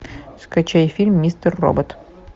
скачай фильм мистер робот